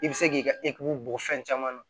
I bɛ se k'i ka bɔ fɛn caman na